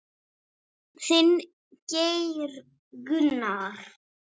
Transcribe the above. Þinn, Geir Gunnar.